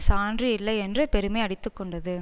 சான்று இல்லை என்று பெருமை அடித்து கொண்டது